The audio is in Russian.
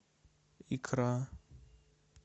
икра